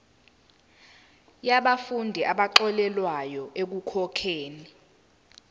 yabafundi abaxolelwa ekukhokheni